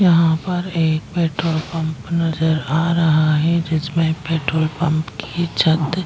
यहाँ पर एक पेट्रोल पंप नजर आ रहा है जिसमे पेट्रोल पंप की छत --